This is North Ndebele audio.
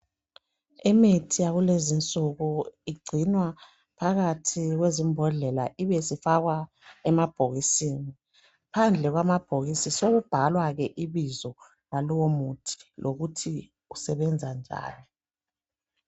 Imithi yakulezinsuku igcinwa phakathi kwezimbodlela ibe isifakwa emabhokisini phandle kwamabhokisi sokubhalwa ibizo lalowo muthi lokuthi usebenza njani